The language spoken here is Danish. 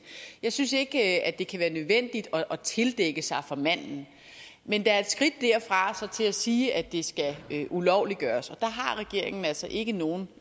jeg synes ikke at det kan være nødvendigt at tildække sig for manden men der er et skridt derfra og til at sige at det skal ulovliggøres og der har regeringen altså ikke nogen